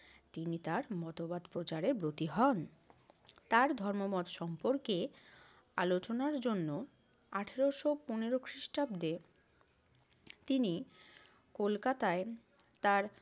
তিনি তার মতবাদ প্রচারে ব্রতী হন। তার ধর্মমত সম্পর্কে আলোচনার জন্য আঠারশো পনেরো খ্রিষ্টাব্দে তিনি কলকাতায় তার